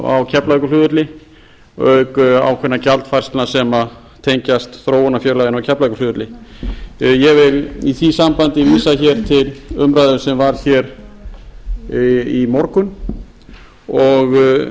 á keflavíkurflugvelli auk ákveðinna gjaldfærslna sem tengjast þróunarfélaginu á keflavíkurflugvelli ég vil í því sambandi vísa hér til umræðu sem var hér í morgun og